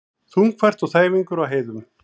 Þungfært og þæfingur á heiðum